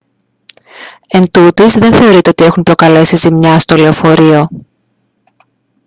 εντούτοις δεν θεωρείται ότι έχουν προκαλέσει ζημιά στο λεωφορείο